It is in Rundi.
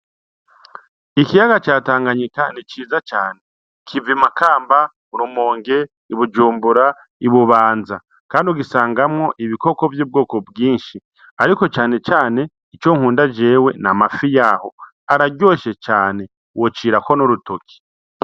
Ikiyaga ca tanganyika ni iciza cane kiva imakamba rumonge ibujumbura ibubanza, kandi ugisangamwo ibikoko vy'ubwoko bwinshi, ariko cane cane ico nkunda jewe na mafi yaho araryoshe cane wocirako n'urutoki.